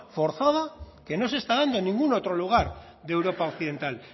forzada que no se está dando en ningún otro lugar de europa occidental